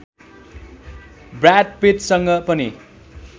broad पिट्टसँग पनि